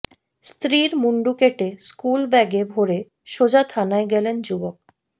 স্ত্রীর মুন্ডু কেটে স্কুল ব্যাগে ভরে সোজা থানায় গেলেন যুবক